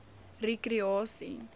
rekreasie